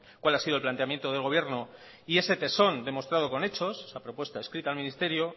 cuál ha sido el planteamiento del gobierno y ese tesón demostrado con hechos esa propuesta escrita al ministerio